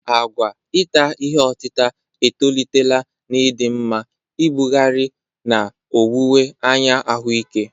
Àgwà ita ihe otita etolitela n'ịdị mma, ibugharị, na owuwe anya ahụike.